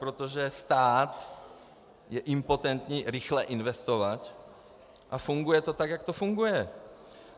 Protože stát je impotentní rychle investovat a funguje to tak, jak to funguje.